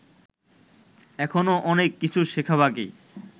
এখনও অনেক কিছু শেখা বাকি